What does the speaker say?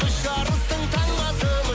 үш арыстың таңбасымыз